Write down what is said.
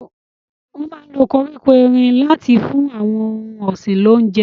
Wọn máa ń lo koríko erin láti fún àwọn ohun ọ̀sìn ní oúnjẹ.